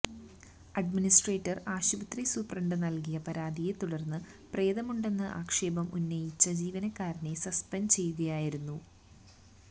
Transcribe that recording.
administrator ആശുപത്രി സൂപ്രണ്ടിന് നൽകിയ പരാതിയെ തുടർന്ന് പ്രേതമുണ്ടെന്ന് ആക്ഷേപം ഉന്നയിച്ച ജീവനക്കാരനെ സസ്പെൻഡ് ചെയ്യുകയായിരുന്നു